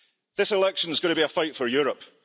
This election is going to be a fight for Europe.